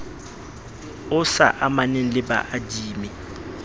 o sa amaneng le baadimi